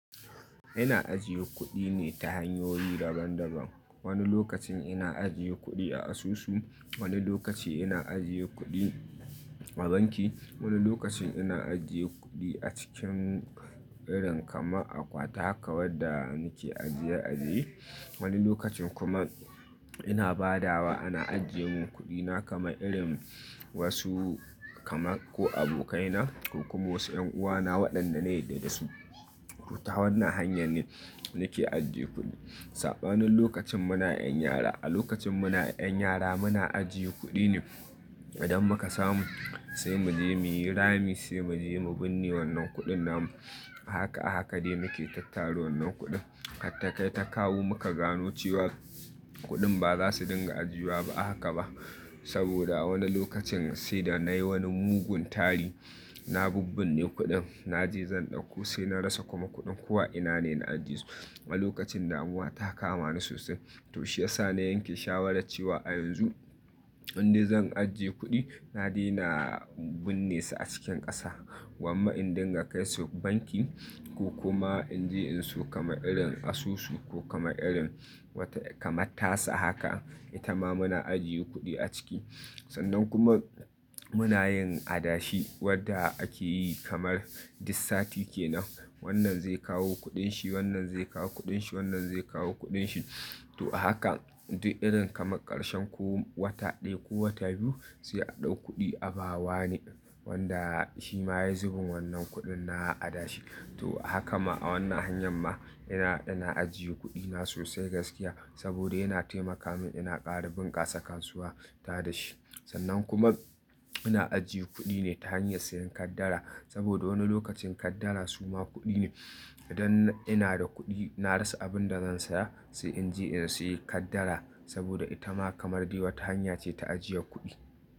Ina ajiye kuɗi ne ta hanyoyi daban-daban. Wani lokacin ina ajiye kuɗi a asusu, wani lokaci ina ajiye kuɗi a banki, wani lokacin ina ajiye kuɗi a cikin irin kamar akwati haka wadda nake ajiye ajiye. Wani lokacin kuma ina badawa ana ajiyemin kuɗina kaman irin wasu kamar ko abokaina ko kuma wasu yan'uwana waɗanda na yadda su. To, ta wannan hanyar ne nake ajiye kuɗi. Saɓanin lokacin muna 'yan yara, a lokacin muna 'yan yara muna ajiye kuɗi ne idan muka samu sai mu je muyi rami sai mu je mu binne wannan kuɗin namu. A haka a haka dai muke tattara wannan kuɗin. Har ta kai ta kawo muka gano cewa kuɗin ba za su dinga ajiwa ba a haka ba. Saboda wani lokacin sai da na yi wani mugun tari, na bubbinne kuɗin na je zan ɗauko sai na rasa kuma kuɗin ko a ina ne na ajiyesu. A lokacin damuwa ta kama ni sosai. To shiyasa na yanke shawarar cewa a yanzu inde zan ajiye kuɗi, na daina binne su a cikin ƙasa. Gwamma in dinga kai su banki ko kuma in je in siyo kamar irin asusu ko kamar irin wata kamar tasa haka, ita ma muna ajiye kuɗi a ciki. Sannan kuma muna yin adashi wadda ake yi kamar duk sati kenan. Wannan zai kawo kuɗin shi, wannan zai kawo kuɗin shi, wannan zai kawo kuɗin shi. To a haka, duk irin kamar ƙarshen ko wata ɗaya ko wata biyu sai a ɗau kuɗi a ba wane wanda shi ma yayi zubin wannan kuɗin na adashi. To, haka ma a wannan hanyar ma ina, ina ajiye kuɗina sosai gaskiya saboda yana taimaka min ina ƙara bunƙasa kasuwa ta da shi. Sannan kuma ina ajiye kuɗi ne ta hanyar sayen kaddara saboda wani lokacin kaddara suma kuɗi ne. Idan ina da kuɗi na rasa abin da zan saya sai in je in sayi kaddara saboda ita ma kamar dai wata hanya ce ta ajiyar kuɗi.